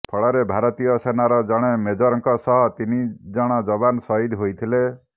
ଫଳରେ ଭାରତୀୟ ସେନାର ଜଣେ ମେଜରଙ୍କ ସହ ତିନିଜଣ ଯବାନ ଶହୀଦ ହୋଇଥିଲେ